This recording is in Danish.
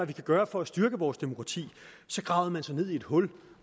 vi kan gøre for at styrke vores demokrati gravede man sig ned i et hul